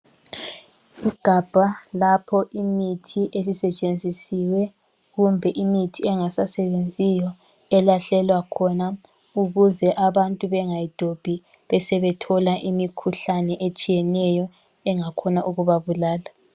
Igabha lapho imithi elisetshenzisiwe kumbe imithi engasasebenziyo elahlelwa khona ukuze abantu bengayidobhi besebethola imikhuhlane etshiyeneyo engakhona ukubabulala.